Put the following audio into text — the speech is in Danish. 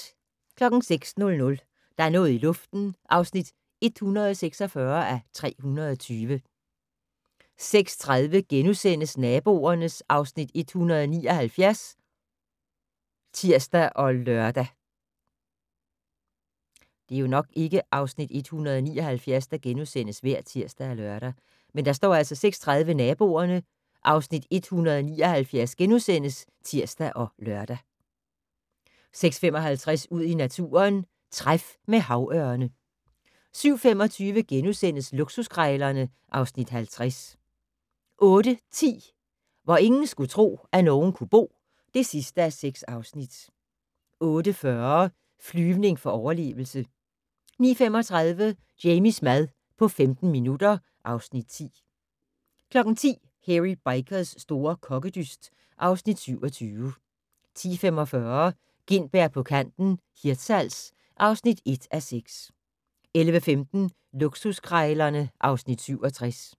06:00: Der er noget i luften (146:320) 06:30: Naboerne (Afs. 179)*(tir og lør) 06:55: Ud i naturen: Træf med havørne 07:25: Luksuskrejlerne (Afs. 50)* 08:10: Hvor ingen skulle tro, at nogen kunne bo (6:6) 08:40: Flyvning for overlevelse 09:35: Jamies mad på 15 minutter (Afs. 10) 10:00: Hairy Bikers' store kokkedyst (Afs. 27) 10:45: Gintberg på kanten - Hirtshals (1:6) 11:15: Luksuskrejlerne (Afs. 67)